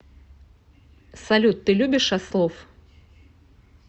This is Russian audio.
салют ты любишь ослов